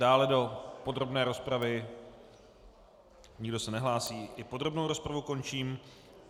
Dále do podrobné rozpravy, nikdo se nehlásí, i podrobnou rozpravu končím.